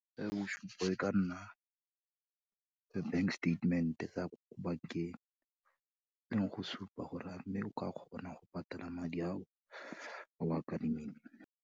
Bosupo bo ka nna the bank statement-e, sa ko bank-eng, e leng go supa gore a mme o ka kgona go patela madi ao, a o a kadimileng.